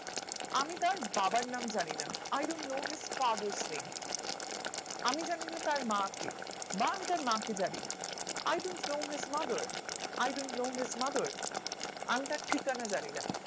আমি কারও বাবা নাম জানি না I don't know his father's name আমি জানি না তার মা কে বা আমি তার মা কে জানি না I don't know his mother I don't know his mother আমি তার ঠিকানা জানি না